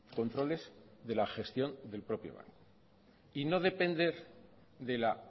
controles de la gestión del propio banco y no depender de la